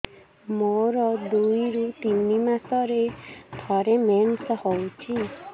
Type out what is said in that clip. ମୋର ଦୁଇରୁ ତିନି ମାସରେ ଥରେ ମେନ୍ସ ହଉଚି